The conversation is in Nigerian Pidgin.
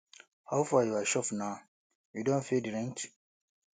how far your shop na you don pay di rent